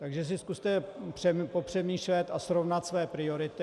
Takže si zkuste popřemýšlet a srovnat své priority.